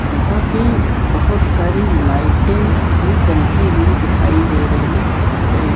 जहां पे बहोत सारी लाइटें भी जलती हुई दिखाई दे रही हैं।